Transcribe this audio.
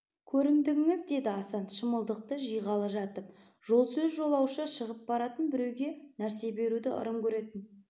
көрімдігіңіз деді асан шымылдықты жиғалы жатып жол сөз жолаушы шығып баратын біреуге нәрсе беруді ырым көретін